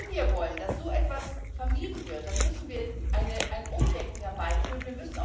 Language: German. Wenn wir wollen, dass so etwas vermieden wird, dann müssen wir ein Umdenken herbeiführen.